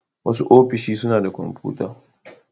Wasu ofishi suna da kwamfuta.